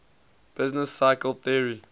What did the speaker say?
business cycle theory